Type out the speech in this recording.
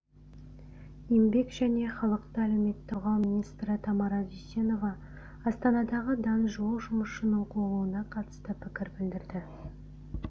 еңбек және халықты әлеуметтік қорғау министрі тамара дүйсенова астанадағы дан жуық жұмысшының қуылуына қатысты пікір білдірді